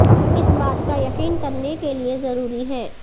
اس بات کا یقین کرنے کے لئے ضروری ہے